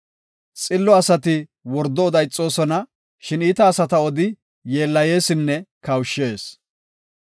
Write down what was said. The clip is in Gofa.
Xillo asati wordo oda ixoosona. Shin iita asata odi yeellayeesinne kawushshees.